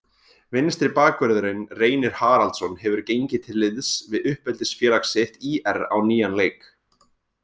Vinstri bakvörðurinn Reynir Haraldsson hefur gengið til liðs við uppeldisfélag sitt ÍR á nýjan leik.